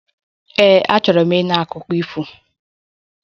Ee, achọrọ m ịnụ akụkọ ifo